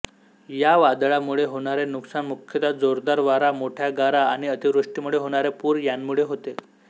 या वादळामुळे होणारे नुकसान मुख्यत जोरदार वारा मोठ्या गारा आणि अतिवृष्टीमुळे होणारे पूर यांमुळे होते